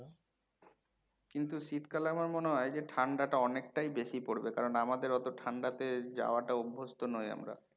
কিন্তু শীতকালে আমার মনে হয় যে ঠাণ্ডা টা অনেকটাই বেশি পরবে কারণ আমাদের অতো ঠাণ্ডাতে যাওয়াটা অভ্যস্ত নই আমরা।